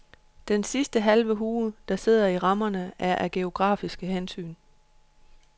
Den sidste halve hue, der sidder i rammerne, er af grafiske hensyn.